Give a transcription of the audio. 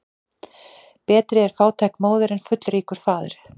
Betri er fátæk móðir en fullríkur faðir.